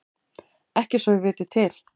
Ekki svo ég viti til.